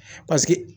Paseke